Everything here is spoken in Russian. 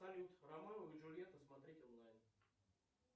салют ромео и джульетта смотреть онлайн